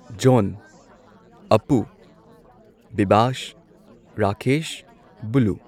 zone Apu Bibas Rakesh blue